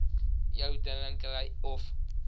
jou drinkery of